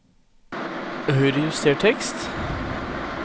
Høyrejuster tekst